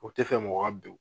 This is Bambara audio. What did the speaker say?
O tɛ fɛ mɔgɔ ka ben